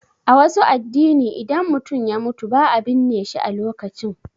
A wasu addini, idan mutum ya mutu ba a binne shi a lokacin.